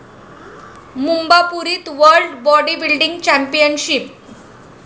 मुंबापुरीत world bodybuilding championship